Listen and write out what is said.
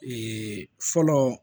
Ee fɔlɔ